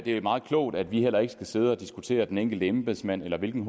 er meget klogt at vi heller ikke skal sidde og diskutere den enkelte embedsmand eller hvilken